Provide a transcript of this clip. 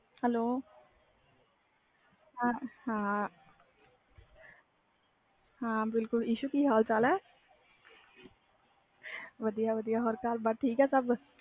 hello ਹਾਂ ਬਿਲਕੁਲ ਇਸਹੁ ਕੀ ਹਾਲ ਚਾਲ ਹੈ ਵਧੀਆ ਵਧੀਆ ਹੋਰ ਘਰਬਾਰ ਠੀਕ ਹੈ ਸਬ